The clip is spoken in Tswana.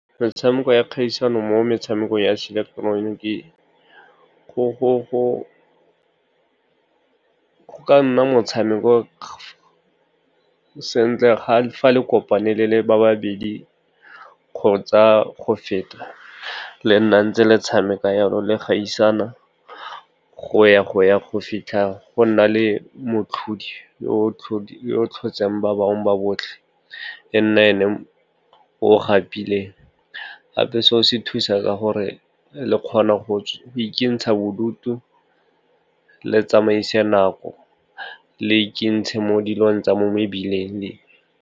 Metshameko ya kgaisano mo metshamekong ya se ileketeroniki, go ka nna motshameko sentle ga fa le kopane le le babedi kgotsa go feta, le nna ntse le tshameka yalo le kgaisana go ya go fitlha go nna le motlhodi yo tlhotseng ba bangwe ba botlhe e nne e ne o gapile. Gape se o se thusa gore le kgone go ikentsha bodutu le tsamaise nako le ikentshe mo dilong tsa mo mebileng.